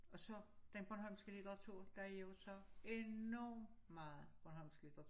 Og så den bornholmske litteratur der jo så enormt meget bornholmsk litteratur